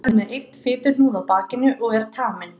Sá er með einn fituhnúð á bakinu og er taminn.